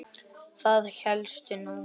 Það hélstu nú!